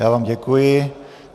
Já vám děkuji.